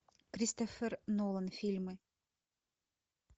кристофер нолан фильмы